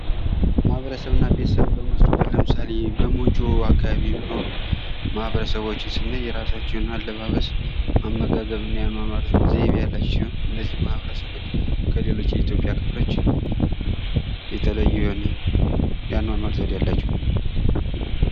"ማህበረሰብና ቤተሰቦች በምንወስድበት ለምሳሌ በሞጆ አካባቢ የሚኖሩ ማህበረሰቦችን ስናይ የራሳቸው የሆነ አለባበስ፣ አመጋገብ እና የአኖኖር ዘይቤ ያአላቸው ሲሆን , እነዚህ ማህበረሰቦች ከሌሎች የኢትዮጵያ ክፍሎች የተለዩ የሆነ የአኖኖር ዘዴ አላቸው።"